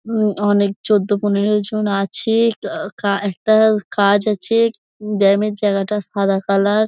উম অনেক চোদ্দ পনেরো জন আছে-এ অ্যা কা একটা কাজ আছে উম ব্যাম এর জায়গাটা সাদা কালার ।